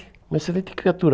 Uma excelente criatura.